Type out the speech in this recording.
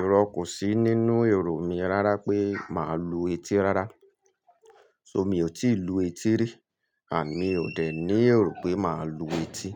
Ìrọ kò sí nínú èrò mi rárá pé màá lu etí rárá. So mi ò tí ì lu etí rí, àmi ò dẹ̀ ní èrò pé màá lu etí.